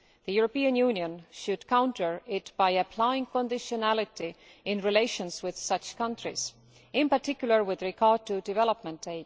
The European Union should counter it by applying conditionality in its relations with such counties, in particular with regard to development aid.